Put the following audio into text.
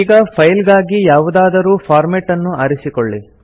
ಈಗ ಫೈಲ್ ಗಾಗಿ ಯಾವುದಾದರೂ ಫಾರ್ಮೇಟ್ ಅನ್ನು ಆರಿಸಿಕೊಳ್ಳಿ